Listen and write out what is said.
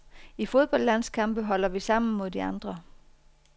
I fodboldlandskampe holder vi sammen mod de andre.